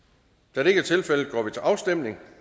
da det ikke er tilfældet går vi til afstemning